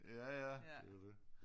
Ja ja det jo dét